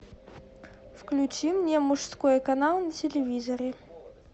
включи мне мужской канал на телевизоре